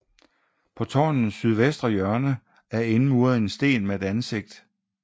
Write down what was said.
På tårnets sydvestre hjørne er indmuret en sten med et ansigt